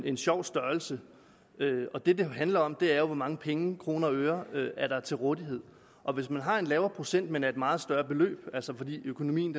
en sjov størrelse og det det handler om er jo hvor mange penge i kroner og øre der er til rådighed og hvis man har en lavere procent men af et meget større beløb altså fordi økonomien